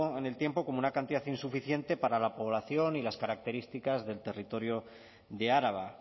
en el tiempo como una cantidad insuficiente para la población y las características del territorio de araba